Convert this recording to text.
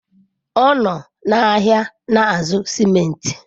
Ọ nọ n'ahịa na-azụ simenti.